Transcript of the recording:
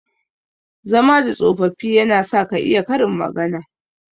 Zama da tsofaffi yana sa ka iya Karin magana.